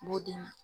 B'o d'i ma